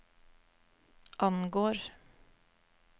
angår